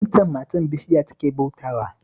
Waccan matar bishiya take bautawa